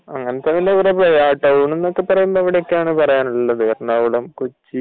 അങ്ങനത്തെ കൊറേ ഉണ്ട്. ടൌൺ എന്നൊക്കെ പറയാൻ ഇതൊക്കെ ആണ് ഉള്ളത് എറണാകുളം കൊച്ചി